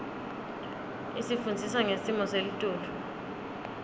isifundzisa ngesmo selitulu